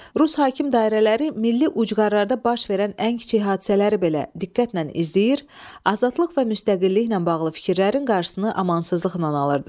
Rus hakim dairələri milli ucqarlarda baş verən ən kiçik hadisələri belə diqqətlə izləyir, azadlıq və müstəqilliklə bağlı fikirlərin qarşısını amansızlıqla alırdı.